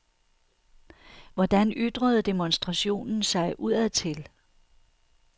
Hvordan ytrede demonstrationen sig udadtil?